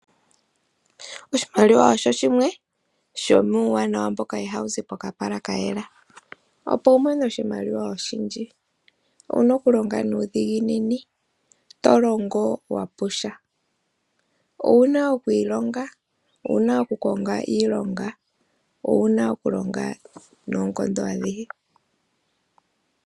Oshimaliwa osho shimwe shomuuwanawa mboka ihawu zi pokapala ka yela. Opo wu mone oshimaliwa oshindji owu na okulonga nuudhiginini. To longo wa pusha. Owu na oku ilonga, owu naokukonga iilonga, owu na okulonga noonkondo adhihe.